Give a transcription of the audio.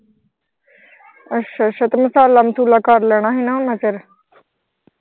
ਅੱਛਾ ਅੱਛਾ ਤੇ ਮਸਾਲਾ ਮਸੂਲਾ ਕਰ ਲੈਣਾ ਹੀ ਨਾ ਓਨਾ ਚਿਰ